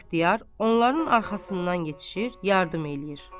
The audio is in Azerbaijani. İxtiyar onların arxasından yetişir, yardım eləyir.